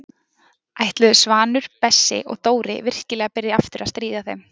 Ætluðu Svanur, Bessi og Dóri virkilega að byrja aftur að stríða þeim?